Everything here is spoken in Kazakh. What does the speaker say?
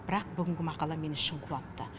бірақ бүгінгі мақала мені шын қуантты